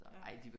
Ja